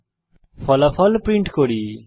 এখন ফলাফল প্রিন্ট করি